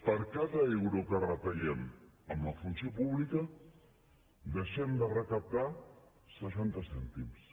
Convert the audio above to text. per cada euro que retallem amb la funció pública deixem de recaptar seixanta cèntims